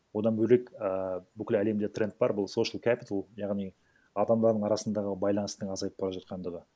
одан бөлек і бүкіл әлемде тренд бар бұл соушел кэпитал яғни адамдардың арасындағы байланыстың азайып бара жатқандығы